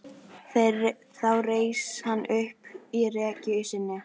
Þá reis hann upp í rekkju sinni.